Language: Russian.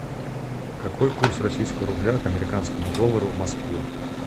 какой курс российского рубля к американскому доллару в москве